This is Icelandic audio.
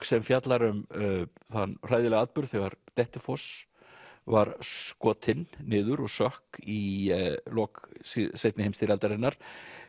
sem fjallar um þann hræðilega atburð þegar Dettifoss var skotinn niður og sökk í lok seinni heimsstyrjaldarinnar